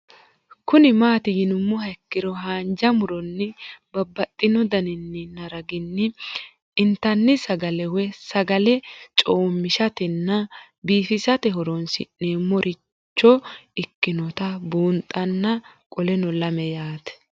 Kuni mati yinumoha ikiro hanja muroni babaxino daninina ragini intani sagale woyi sagali comishatenna bifisate horonsine'morich ikinota bunxana qoleno lame yaate